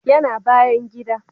Ya na bayan gida